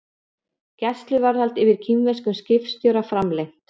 Gæsluvarðhald yfir kínverskum skipstjóra framlengt